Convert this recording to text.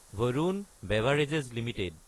Varun beverages Ltd